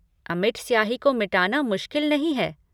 अमिट स्याही को मिटाना मुश्किल नहीं है।